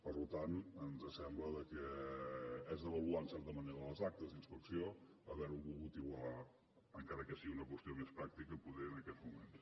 per tant ens sembla que és avaluar en certa manera les actes d’inspecció haver ho volgut igualar encara que sigui una qüestió més practica potser en aquests moments